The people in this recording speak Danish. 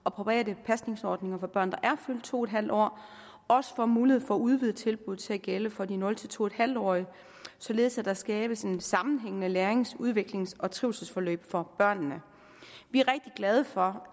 og private pasningsordninger for børn er fyldt to en halv år også får mulighed for at udvide tilbuddet til at gælde for de nul to en halv årige således at der skabes et sammenhængende lærings udviklings og trivselsforløb for børnene vi er rigtig glade for